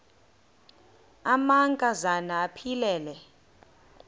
amanka zana aphilele